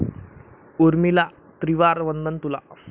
उर्मिला त्रिवार वंदन तुला